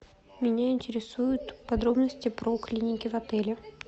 меня интересуют подробности про клиники в отеле